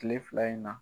Kile fila in na